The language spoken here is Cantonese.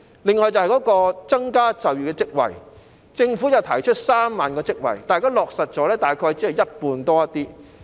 另外，在增加就業職位方面，政府提出創造3萬個職位，但現已落實的數字只是稍為多於一半。